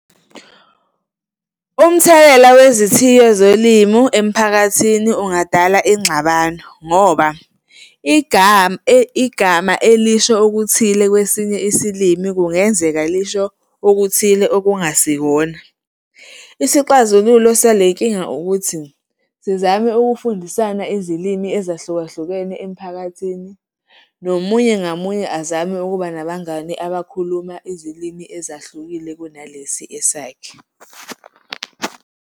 Umthelela wezithiyo zolimu emphakathini ungadala ingxabano ngoba igama elisho okuthile kwesinye isilimi kungenzeka lisho okuthile okungasikona. Isixazululo salenkinga ukuthi sizame ukufundisana izilimi ezahlukahlukene emphakathini, nomunye ngamunye azame ukuba nabangani abakhuluma izilimi ezahlukile kunalesi esakhe.